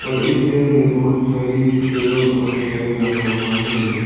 और इस घर में बहुत सारे टेबल और चेयर भी रखा हुआ है।